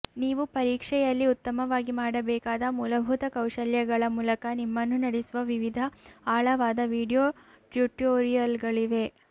ನೀವು ಪರೀಕ್ಷೆಯಲ್ಲಿ ಉತ್ತಮವಾಗಿ ಮಾಡಬೇಕಾದ ಮೂಲಭೂತ ಕೌಶಲ್ಯಗಳ ಮೂಲಕ ನಿಮ್ಮನ್ನು ನಡೆಸುವ ವಿವಿಧ ಆಳವಾದ ವೀಡಿಯೊ ಟ್ಯುಟೋರಿಯಲ್ಗಳಿವೆ